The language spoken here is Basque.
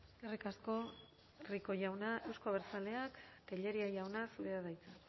eskerrik asko rico jauna euzko abertzaleak tellería jauna zurea da hitza